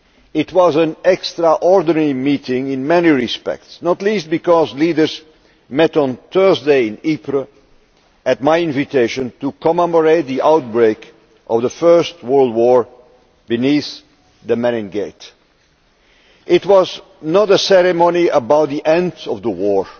It was an extraordinary meeting in many respects, not least because leaders met on Thursday in Ypres, at my invitation, to commemorate the outbreak of the First World War beneath the Menin Gate. It was not a ceremony about the end of the war,